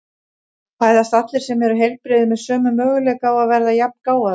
Fæðast allir sem eru heilbrigðir með sömu möguleika á að verða jafngáfaðir?